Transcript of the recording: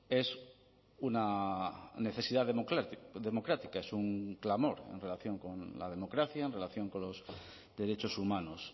es una necesidad democrática es un clamor en relación con la democracia en relación con los derechos humanos